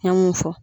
An mun fɔ